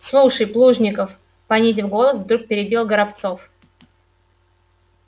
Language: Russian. слушай плужников понизив голос вдруг перебил горобцов